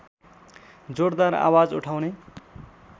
जोडदार आवाज उठाउने